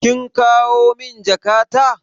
Kin kawo min jakata?